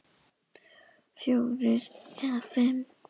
Fjórir eða fimm!